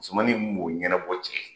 Musomanin mun b'o ɲɛnabɔ cɛ ye